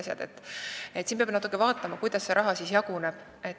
Siin peab natuke vaatama, kuidas see raha jaguneb.